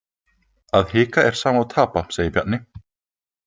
Að hika er sama og tapa, segir Bjarni.